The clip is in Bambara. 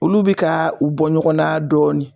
Olu bi ka u bɔ ɲɔgɔn na dɔɔnin